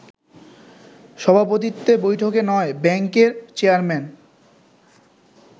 সভাপতিত্বে বৈঠকে নয় ব্যাংকের চেয়ারম্যান